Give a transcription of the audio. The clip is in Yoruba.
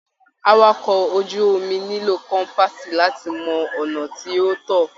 Àwàkọ̀ ojú omi nílò kọ́mpaasi láti mọ ọnà tí o tọ.